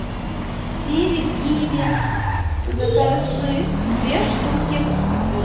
сири киви закажи две штуки